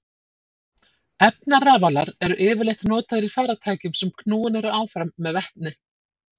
Efnarafalar eru yfirleitt notaðir í farartækjum sem knúin eru áfram með vetni.